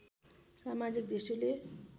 समाजिक दृष्टिले